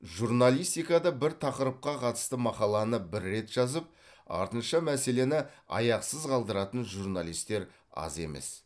журналистикада бір тақырыпқа қатысты мақаланы бір рет жазып артынша мәселені аяқсыз қалдыратын журналистер аз емес